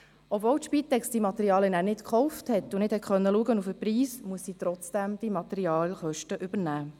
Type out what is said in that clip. Obwohl die Spitex die Materialien nicht selbst gekauft hat und deshalb nicht auf den Preis achten konnte, muss sie die Kosten dafür übernehmen.